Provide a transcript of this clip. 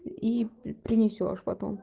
и принесёшь потом